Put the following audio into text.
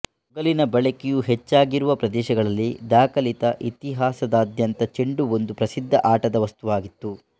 ತೊಗಲಿನ ಬಳಕೆಯು ಹೆಚ್ಚಾಗಿರುವ ಪ್ರದೇಶಗಳಲ್ಲಿ ದಾಖಲಿತ ಇತಿಹಾಸದಾದ್ಯಂತ ಚೆಂಡು ಒಂದು ಪ್ರಸಿದ್ಧ ಆಟದ ವಸ್ತುವಾಗಿತ್ತು